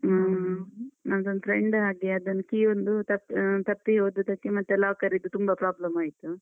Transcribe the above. ಹ್ಮ ಮತ್ ನಂದೊಂದ್ friend ಹಾಗೆ, ಅದನ್ನು key ಒಂದು ತಪ್~ ಆ, ತಪ್ಪಿ ಹೋದದಕ್ಕೆ ಮತ್ತೆ locker ರಿದ್ದು ತುಂಬ problem ಆಯ್ತು.